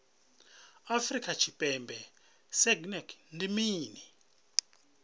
afrika tshipembe sagnc ndi mini